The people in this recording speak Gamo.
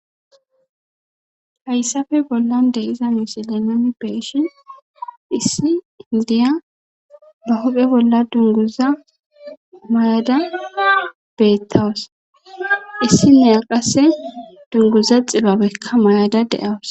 hayssafe bollan de iza beishin issi pudehaindiya ba huphe bolla dunguza muyada beettawus issi niaqase dunguza xibabekka mayada de7awus